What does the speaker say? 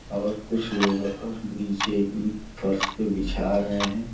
और कुछ लेबर और नीचे इन फर्श पे बिछा रहे हैं।